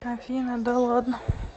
афина да ладно